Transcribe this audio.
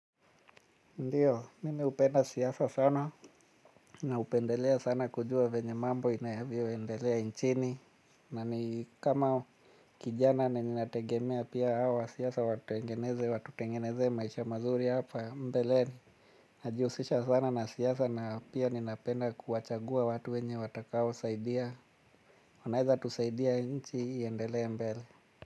Ndiyo, mimi hupenda siasa sana, na hupendelea sana kujua venye mambo inayvo endelea nchini. Na ni kama kijana na ninategemea pia siaasa watengeneze, watutengenezee maisha mazuri hapa mbeleni. Najiusisha sana na siasa na pia ninapenda kuwachagua watu wenye watakao saidia. Wanaeza tusaidia nchi hii iendelea mbele.